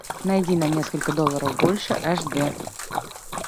найди на несколько долларов больше аш дэ